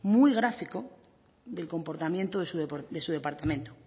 muy gráfico el comportamiento de su departamento